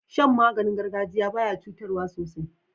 Shan maganin gargajiya baya cutarwa sosai